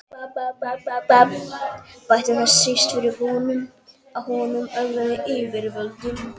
Bætti það síst um fyrir honum, að hann ögraði yfirvöldum.